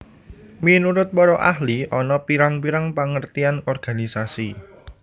Minurut para ahli ana pirang pirang pengertian organisasi